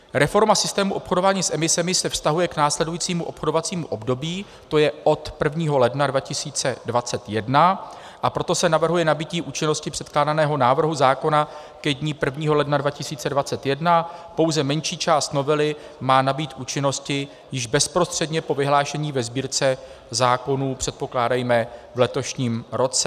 Reforma systému obchodování s emisemi se vztahuje k následujícímu obchodovacímu období, to je od 1. ledna 2021, a proto se navrhuje nabytí účinnosti předkládaného návrhu zákona ke dni 1. ledna 2021, pouze menší část novely má nabýt účinnosti již bezprostředně po vyhlášení ve Sbírce zákonů, předpokládejme v letošním roce.